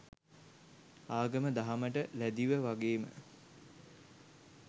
ආගම දහමට ලැදිව වගේම